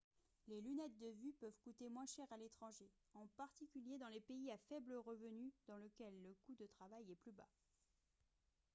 les lunettes de vue peuvent coûter moins cher à l'étranger en particulier dans les pays à faible revenu dans lesquels le coût du travail est plus bas